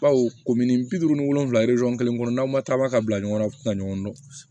Baw ko minni bi duuru ni wolonfila kelen kɔnɔ n'aw ma taa ba ka bila ɲɔgɔn na u ti na ɲɔgɔn dɔn